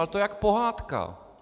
Ale to je jak pohádka.